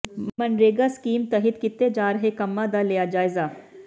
MNREGA scheme ਤਹਿਤ ਕੀਤੇ ਜਾ ਰਹੇ ਕੰਮਾਂ ਦਾ ਲਿਆ ਜਾਇਜ਼ਾ